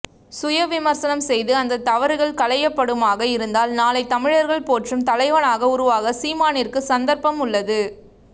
சுய விமர்சனம் செய்து அந்த தவருகள் கலையபடுமாக இருந்தால் நாளை தமிழர்கள் போற்றும் தலைவனாக உருவாக சீமானிற்கு சந்தர்பம் உல்லது